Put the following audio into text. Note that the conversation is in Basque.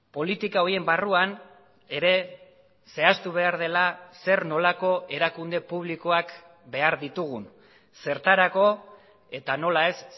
politika horien barruan ere zehaztu behar dela zer nolako erakunde publikoak behar ditugun zertarako eta nola ez